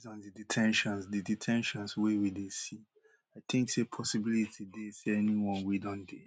based on di de ten tions di de ten tions wey we dey see i think say possibility dey say anyone wey don dey